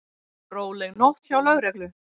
Róleg nótt hjá lögreglu